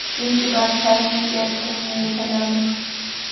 Ingibert, hvað er mikið eftir af niðurteljaranum?